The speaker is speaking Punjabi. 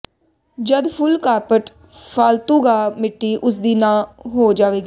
ਜਦ ਫੁੱਲ ਕਾਰਪਟ ਫਾਲਤੂਗਾਹ ਮਿੱਟੀ ਉਸਦੀ ਨੂੰ ਹੋ ਜਾਵੇਗਾ